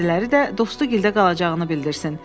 Bəziləri də Dosta gildə qalacağını bildirsin.